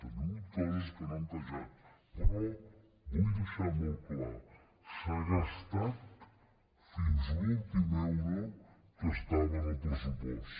hi han hagut coses que no han encaixat però vull deixar·ho molt clar s’ha gastat fins a l’últim euro que estava en el pressupost